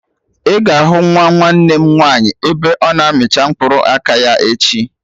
Ị ga-ahụ nwa nwanne m nwaanyị ebe ọ na amicha mkpụrụ aka ya echi